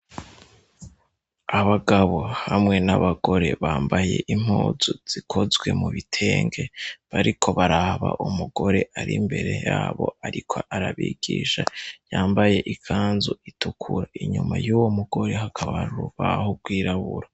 Abagabo hamwe n'abagore bambaye impuzu zikozwe mu bitenge bariko baraba umugore ari mbere yabo ariko arabigisha yambaye ikanzu itukura. Inyuma y'uwo mugore hakaba hari urubaho rwirabura.